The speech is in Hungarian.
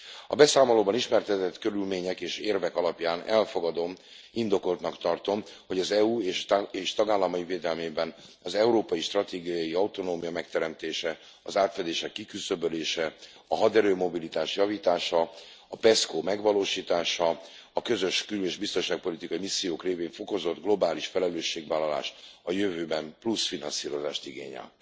A beszámolóban ismertetett körülmények és érvek alapján elfogadom, indokoltnak tartom, hogy az EU és tagállamai védelmében az európai stratégiai autonómia megteremtése, az átfedések kiküszöbölése, a haderő mobilitás javítása, a PESCO megvalósítása, a közös kül és biztonságpolitikai missziók révén fokozott globális felelősségvállalás a jövőben plusz finanszírozást igényel.